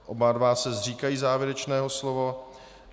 Oba dva se zříkají závěrečného slova.